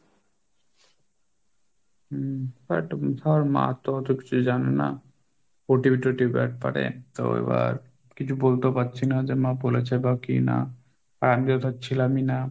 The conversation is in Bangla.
হম but ধর মা তো অত কিছু জানে না, OTP টীটিপি ব্যাপারে, তো এবার কিছু বলতেও পারছি না যে মা বলেছে বা কি না আর আমি তো ধর ছিলামই না।